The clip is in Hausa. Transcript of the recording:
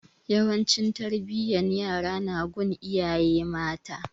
Yawanci tarbiyan yara na gun iyaye mata